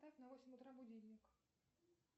поставь на восемь утра будильник